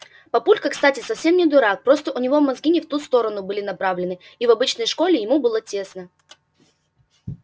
папулька кстати совсем не дурак просто у него мозги не в ту сторону были направлены и в обычной школе ему было тесно